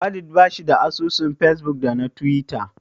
Walid bashi da asusun fesbuk da na tiwita.